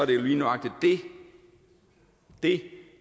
det lige nøjagtig det